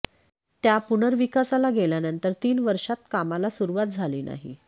त्या पुनर्विकासाला गेल्यानंतर तीन वर्षांत कामाला सुरुवात झाली नाही